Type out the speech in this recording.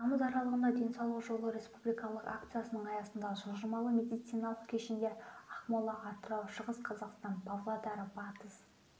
тамыз аралығында денсаулық жолы республикалық акциясының аясында жылжымалы медициналық кешендер ақмола атырау шығыс қазақстан павлодар батыс